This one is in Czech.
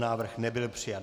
Návrh nebyl přijat.